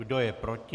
Kdo je proti?